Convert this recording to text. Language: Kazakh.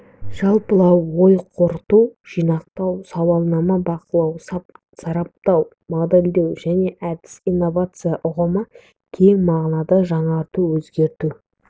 жалпылау ой қорыту жинақтау сауалнама бақылау сараптау модельдеу және әдістер инновация ұғымы кең мағынасында жаңарту өзгерту